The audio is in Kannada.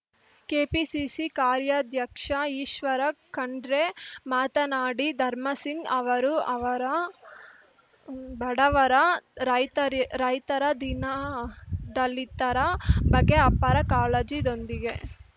ಕೆಪಿಸಿಸಿ ಕಾರ್ಯಾಧ್ಯಕ್ಷ ಈಶ್ವರ ಖಂಡ್ರೆ ಮಾತನಾಡಿ ಧರ್ಮಸಿಂಗ್‌ ಅವರು ಅವರ ಬಡವರ ರೈತರಿ ರೈತರ ದೀನದಲಿತರ ಬಗ್ಗೆ ಅಪಾರ ಕಾಳಜಿದೊಂದಿಗೆ